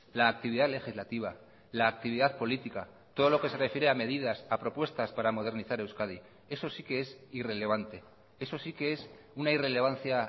la actividad legislativa la actividad política todo lo que se refiere a medidas a propuestas para modernizar euskadi eso sí que es irrelevante eso sí que es una irrelevancia